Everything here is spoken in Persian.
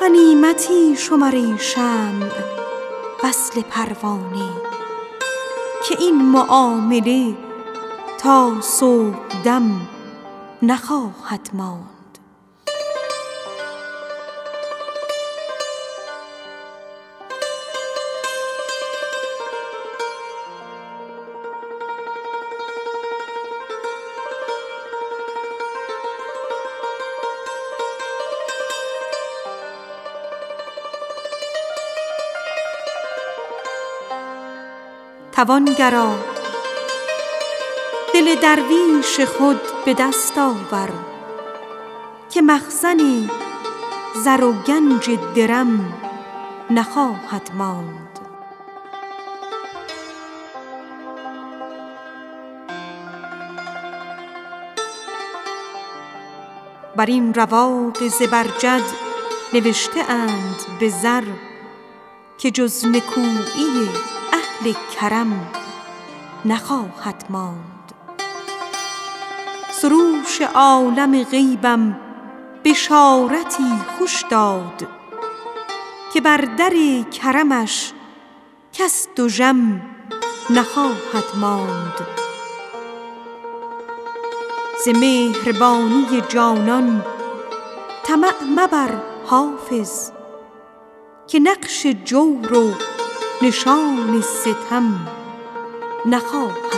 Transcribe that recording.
غنیمتی شمر ای شمع وصل پروانه که این معامله تا صبح دم نخواهد ماند توانگرا دل درویش خود به دست آور که مخزن زر و گنج درم نخواهد ماند بدین رواق زبرجد نوشته اند به زر که جز نکویی اهل کرم نخواهد ماند ز مهربانی جانان طمع مبر حافظ که نقش جور و نشان ستم نخواهد ماند